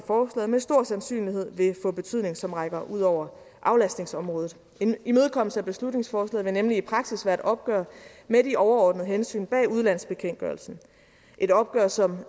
af forslaget med stor sandsynlighed vil få betydning som rækker ud over aflastningsområdet en imødekommelse af beslutningsforslaget vil nemlig i praksis være et opgør med de overordnede hensyn bag udlandsbekendtgørelsen et opgør som